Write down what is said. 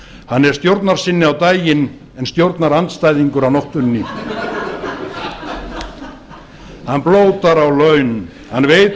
hann er stjórnarsinni á daginn en stjórnarandstæðingur á nóttunni hann blótar á laun hann veit